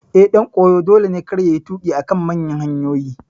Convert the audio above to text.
Eh, ɗan koyo dole ne kada yayi tuƙi a kan manyan hanyoyi